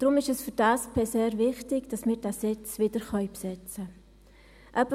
Deshalb ist es für die SP sehr wichtig, diesen Sitz wiederbesetzen zu können.